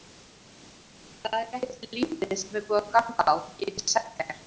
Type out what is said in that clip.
Það er ekkert lítið sem er búið að ganga á, get ég sagt þér.